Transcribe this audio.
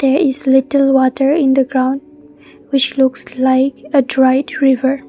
there is little water in the ground which looks like a dried river.